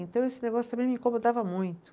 Então esse negócio também me incomodava muito.